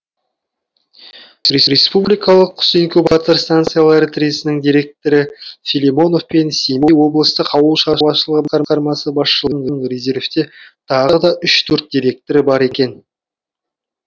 республикалық құс инкубатор станциялары тресінің директоры филимонов пен семей облыстық ауыл шаруашылығы басқармасы басшыларының резервте тағы да үш төрт директоры бар екен